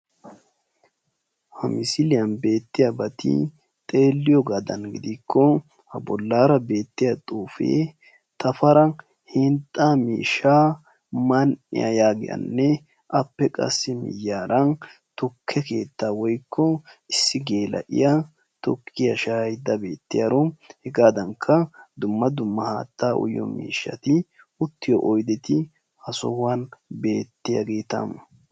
Ha misiliyan beettiyabati xeeliyogaadan gidikko ha bollaara beetiyaa xuufee Tafara hinxxaa miishshaa man"iya yaggiyaanne appe qassi miyiyaara tukke keettaa woykko issi gela'iya tukkiya shaayayida bettiyaaro hegaadankka dumma dumma haattaa uyiyo miishshati uttiyo oydeti ha sohuwan beettiyaageetaa.